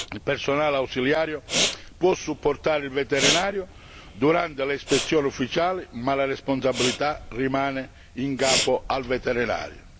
Il personale ausiliario può supportare il veterinario durante le ispezioni ufficiali, ma la responsabilità rimane in capo al veterinario.